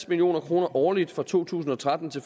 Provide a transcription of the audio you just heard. million kroner årligt fra to tusind og tretten til